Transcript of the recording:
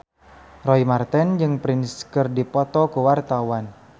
Roy Marten jeung Prince keur dipoto ku wartawan